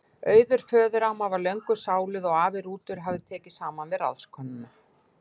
Auður föðuramma var löngu sáluð og afi Rútur hafði tekið saman við ráðskonuna